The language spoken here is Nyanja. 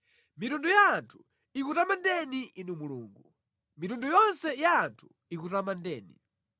Mitundu ya anthu ikutamandeni Inu Mulungu; mitundu yonse ya anthu ikutamandeni.